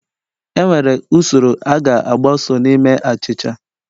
Enwere usoro a ga-agbaso na ime achịcha